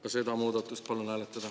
Ka seda muudatust palun hääletada.